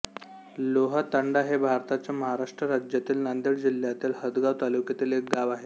लोहातांडा हे भारताच्या महाराष्ट्र राज्यातील नांदेड जिल्ह्यातील हदगाव तालुक्यातील एक गाव आहे